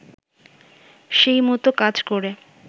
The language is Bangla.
সেই মতো কাজ করে